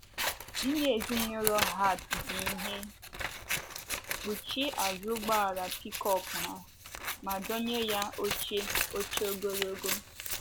Ndị ezinụlọ Hart ji ihe kpuchie azụ ụgbọala pikọp ha, ma dọnye ya oche oche ogologo.